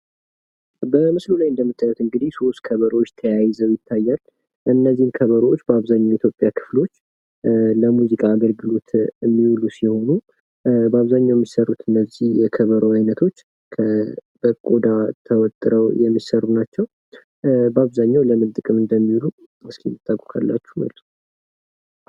በምስሉ ላይ እንደምታዩት እንግዲህ ሶስት ከበሮዎች ተያይዘው ይታያል። እነዚህ ከበሮዎች በአብዘሃኛው የኢትዮጵያ ክፍሎች ለሙዚቃ የሚዉሉ ሲሆን እስኪ በአብዘሃኛው ለምን እንደሚዉሉ የምታውቁ ካላችሁ መልሱ?